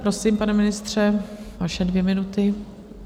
Prosím, pane ministře, vaše dvě minuty.